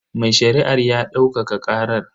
Mai shari'ar ya daukaka karar.